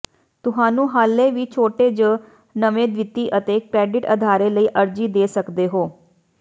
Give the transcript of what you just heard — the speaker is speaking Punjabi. ਤੁਹਾਨੂੰ ਹਾਲੇ ਵੀ ਛੋਟੇ ਜ ਨਵੇ ਵਿੱਤੀ ਅਤੇ ਕ੍ਰੈਡਿਟ ਅਦਾਰੇ ਲਈ ਅਰਜ਼ੀ ਦੇ ਸਕਦੇ ਹੋ